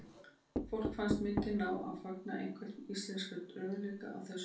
Fólki fannst myndin ná að fanga einhvern íslenskan raunveruleika á þessum tíma.